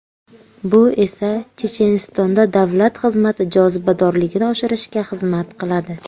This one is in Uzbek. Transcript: Bu esa Chechenistonda davlat xizmati jozibadorligini oshirishga xizmat qiladi.